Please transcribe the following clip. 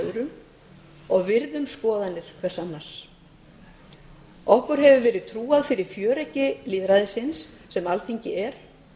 öðrum og virðum skoðanir hver annars okkur hefur verið trúað fyrir fjöreggi lýðræðisins sem alþingi er